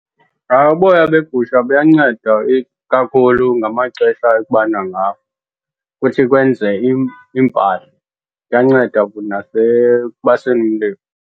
Uboya begusha buyanceda ikakhulu ngamaxesha ekubanda ngawo ukuthi kwenze iimpahla. Kuyanceda futhi nasekubaseni umlilo